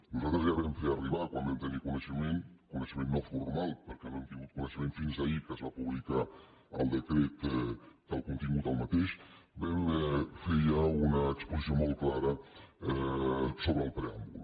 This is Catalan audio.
nosaltres ja vam fer arribar quan en vam tenir coneixement coneixement no formal perquè no hem tingut coneixement fins ahir que es va publicar el decret del contingut una exposició molt clara sobre el preàmbul